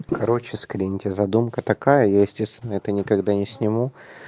короче скриньте задумка такая я естественно это никогда не сниму